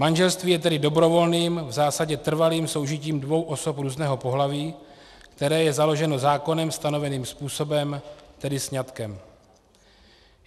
Manželství je tedy dobrovolným, v zásadě trvalým soužitím dvou osob různého pohlaví, které je založeno zákonem stanoveným způsobem, tedy sňatkem.